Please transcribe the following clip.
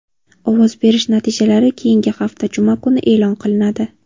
Ovoz berish natijalari keyingi hafta juma kuni e’lon qilinadi.